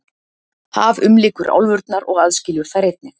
Haf umlykur álfurnar og aðskilur þær einnig.